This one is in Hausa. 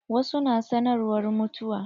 Wasu na sanarwar mutuwa.